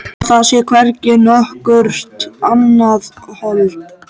Að það sé hvergi nokkurt annað hold.